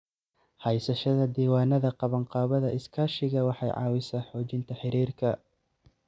Haysashada diiwaannada qabanqaabada iskaashiga waxay caawisaa xoojinta xiriirka.